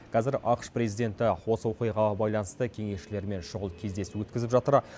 қазір ақш президенті осы оқиғаға байланысты кеңесшілерімен шұғыл кездесу өткізіп жатыр